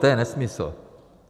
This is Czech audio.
To je nesmysl.